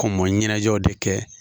Kɔmɔ ɲɛnajɛw de kɛ